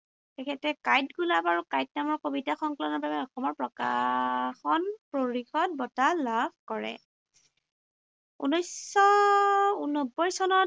তেখেতে কাঁইট গোলাপ আৰু কাঁইট নামৰ কবিতা সংকলনৰ বাবে অসমৰ প্ৰকাশন পৰিষদ বঁটা লাভ কৰে। ঊনৈশশ নব্বৈ চনত